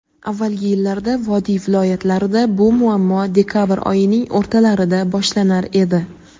Avvalgi yillarda vodiy viloyatlarida bu muammo dekabr oyining o‘rtalarida boshlanar edi.